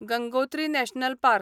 Gangotri national park